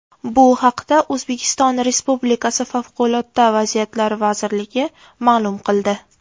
Bu haqda O‘zbekiston Respublikasi favqulodda vaziyatlar vazirligi ma’lum qildi .